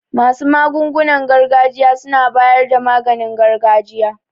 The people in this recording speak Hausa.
Masu magungunan gargajiya suna bayar da maganin gargajiya.